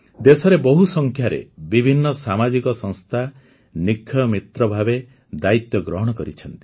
ଦେଶରେ ବହୁ ସଂଖ୍ୟାରେ ବିଭିନ୍ନ ସାମାଜିକ ସଂସ୍ଥା ନିକ୍ଷୟ ମିତ୍ର ଭାବେ ଦାୟିତ୍ୱ ଗ୍ରହଣ କରିଛନ୍ତି